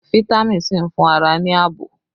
Fitami sii ń fún ara ní ààbò